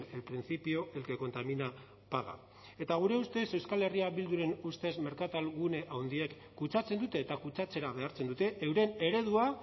el principio el que contamina paga eta gure ustez euskal herria bilduren ustez merkatalgune handiek kutsatzen dute eta kutsatzera behartzen dute euren eredua